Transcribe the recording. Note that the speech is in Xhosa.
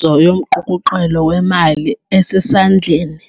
zo yomqukuqelo weMali eseSandleni